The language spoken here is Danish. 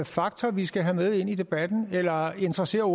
faktor vi skal have med ind i debatten eller interesserer